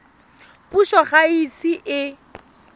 puso ga e ise e